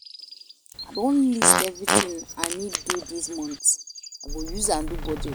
I don list everytin I need dis month, I go use am do budget.